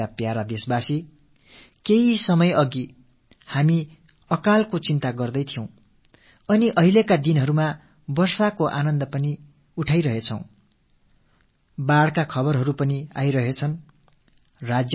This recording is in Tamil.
எனதருமை நாட்டுமக்களே சில காலம் முன்பாக நம் மனங்களில் பஞ்சம் பற்றிய கவலை குடிகொண்டிருந்தது இப்போதோ மழை ஆனந்தத்தை அளித்து வருகிறது அதே வேளையில் வெள்ளப்பெருக்கு பற்றிய செய்திகளும் வந்து கொண்டிருக்கின்றன